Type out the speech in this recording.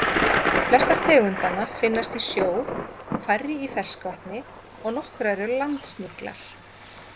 Flestar tegundanna finnast í sjó, færri í ferskvatni og nokkrar eru landsniglar.